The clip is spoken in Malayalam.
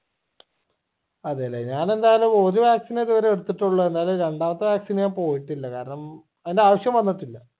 അതെല്ലേ ഞാൻ എന്തായാലും ഒരു vaccine എ ഇതുവരെ എടിത്തിട്ടുള്ളു അല്ലാതെ രണ്ടാമത്തെ vaccine ഞാൻ പോയിട്ടില്ല കാരണം അതിന്റെ ആവിശ്യം വന്നിട്ടില്ല